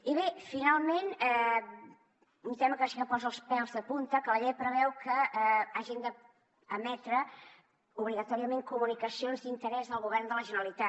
i bé finalment un tema que sí que posa els pèls de punta que la llei preveu que hagin d’emetre obligatòriament comunicacions d’interès del govern de la generalitat